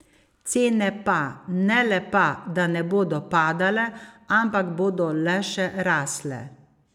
Cene pa, ne le pa, da ne bodo padale, ampak bodo le še rasle.